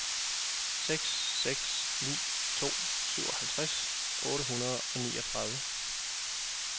seks seks ni to syvoghalvtreds otte hundrede og niogtredive